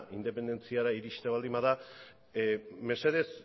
independentziara iristea baldin bada mesedez